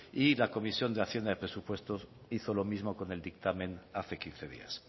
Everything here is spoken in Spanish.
y la comisión de hacienda de presupuestos hizo lo mismo con el dictamen hace quince días